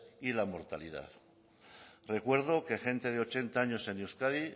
y la mortalidad recuerdo que gente de ochenta años en euskadi